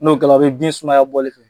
N'o kɛra a bɛ den sumaya bɔli fɛ.